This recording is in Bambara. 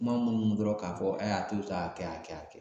Kuma munnu dɔrɔn k'a fɔ, a to yen sa a kɛ a kɛ a kɛ